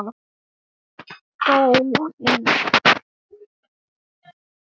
Loga þú í hverju hjarta.